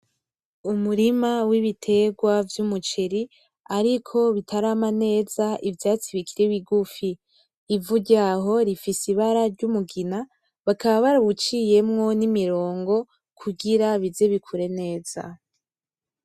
Umurima w'ibitegwa vy'umuceri ariko bitarama neza ivyatsi bikiri bigufi. Ivu ryaho rifise ibara ry'umugina bakaba barawuciyemwo n'imirongo kugira bize bikure neza.